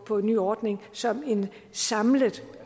på en ny ordning som en samlet